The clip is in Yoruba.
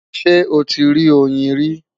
Ṣé o ti rí oyin rí?